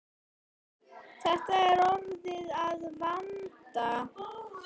Þetta er orðið að vana.